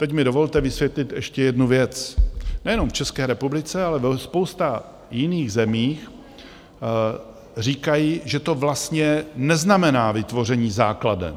Teď mi dovolte vysvětlit ještě jednu věc, nejenom v České republice, ale ve spoustě jiných zemí říkají, že to vlastně neznamená vytvoření základen.